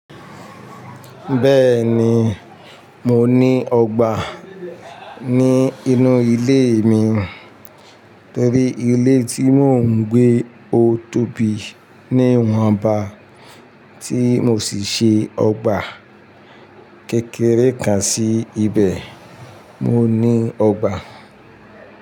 Bẹ́ẹ̀ni, mo ní ọgbà ní inú ilé mi torí ilé tí mò ń gbé ó tóbi ní ìwọn ba tí mo sì ṣe ọgbà kékeré kan sí ibẹ̀, mo ní ọgbà.